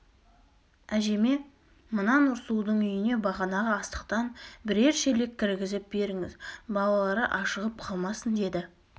әжеме мына нұрсұлудың үйіне бағанағы астықтан бірер шелек кіргізіп беріңіз балалары ашығып қалмасын деді